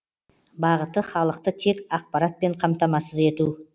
бағыты халықты тек ақпаратпен қамтамасыз ету